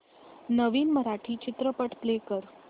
नवीन मराठी चित्रपट प्ले कर